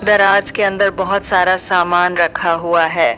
दराज के अंदर बहोत सारा सामान रखा हुआ है।